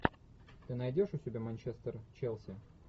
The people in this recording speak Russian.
ты найдешь у себя манчестер челси